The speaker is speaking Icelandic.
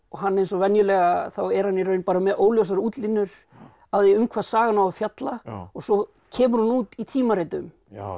hann eins og venjulega þá er hann í raun bara með óljósar útlínur af því um hvað sagan á að fjalla og svo kemur hún út í tímaritum